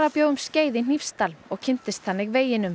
bjó um skeið í Hnífsdal og kynntist þannig veginum